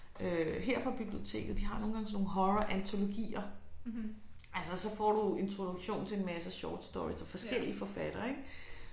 Øh her fra biblioteket de har nogle gange sådan nogle horrorantologier altså så får du introduktion til en masse shortstories af forskellige forfattere ik